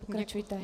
Pokračujte.